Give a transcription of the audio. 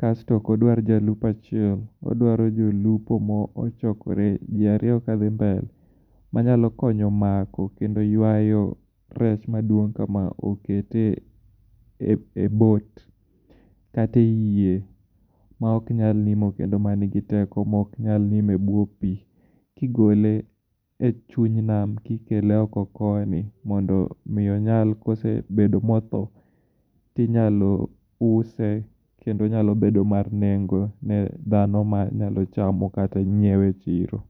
kasto ok odwar jalupo achiel, odwaro jolupo mochokore ji ariyo ka dhi mbele manyalo konyo mako kendo ywayo rech maduong' kama oketye e boat kata e yie maok nyal nimo kendo ma nigi teko mok nyal nimo e bwo pi kigole e chuny nam kikelo oko koni mondo miyo nyal kosebedo motho tinyalo use kendo onyalo bedo mar nengo ne dhano manyalo chamo kata nyiewe e chiro.